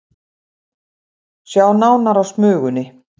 Sjá nánar á Smugunni